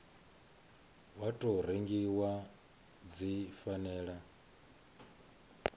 wa tou rengiwa dzi fanela